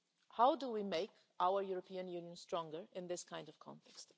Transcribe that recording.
How do we make our European Union stronger in this kind of context?